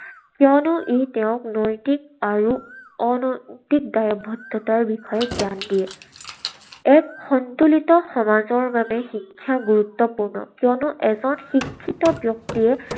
কিয়নো ই তেওঁক নৈতিক আৰু অনৈতিক দায়বদ্ধতাৰ বিষয়ে জ্ঞান দিয়ে। এক সন্তুলিত সমাজৰ বাবে শিক্ষা গুৰুত্বপূৰ্ণ। কিয়নো এজন শিক্ষিত ব্যক্তিয়ে